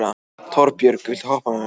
Torbjörg, viltu hoppa með mér?